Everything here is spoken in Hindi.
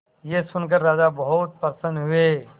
यह सुनकर राजा बहुत प्रसन्न हुए